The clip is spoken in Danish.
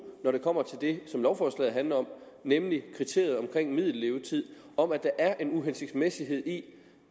når det kommer til det som lovforslaget handler om nemlig kriteriet for middellevetid om at der er en uhensigtsmæssighed i